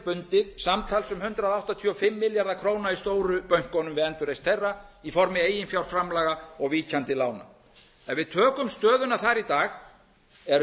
bundið samtals um hundrað áttatíu og fimm milljarða króna í stóru bönkunum við endurreisn þeirra í formi eiginfjárframlaga og víkjandi lána ef við tökum stöðuna þar í dag er